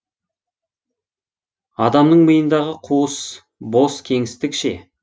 адамның миындағы қуыс бос кеңістік ше